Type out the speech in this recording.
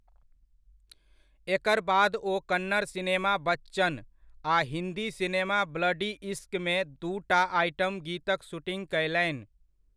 एकर बाद ओ कन्नड़ सिनेमा 'बच्चन' आ हिन्दी सिनेमा 'ब्लडी इश्क'मे दूटा आइटम गीतक शूटिङ्ग कयलनि।